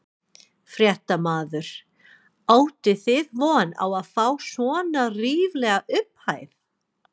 Fréttamaður: Áttuð þið von á að fá svona ríflega upphæð?